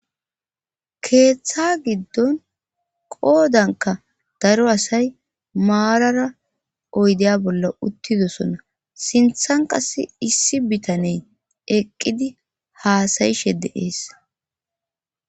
keeththa giddon qoodanka daro asay maarara oydeya bolla uttidosona sinthan qas issi bitaney eqqidi haasayishe de'ees